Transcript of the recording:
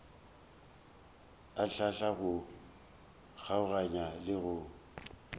hlahla go kgokaganya le go